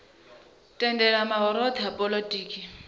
tendela mahoro othe a polotiki